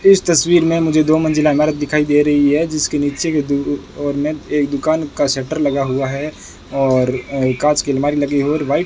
इस तस्वीर में मुझे दो मंजिला इमारत दिखाई दे रही है जिसके नीचे की दो ऑर में एक दुकान का शटर लगा हुआ है और अ कांच की अलमारी लगी है और व्हाइट --